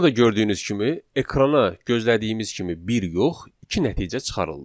Burada gördüyünüz kimi ekrana gözlədiyimiz kimi bir yox, iki nəticə çıxarıldı.